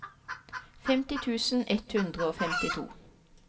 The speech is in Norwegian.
femti tusen ett hundre og femtito